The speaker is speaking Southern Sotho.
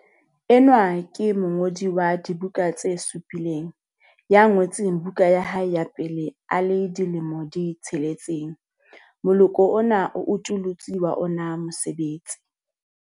Enwa ke mongodi wa dibuka tse supileng ya ngotseng buka ya hae ya pele a le dilemo di 6. Moloko ona o utollotse wa ona mosebetsi.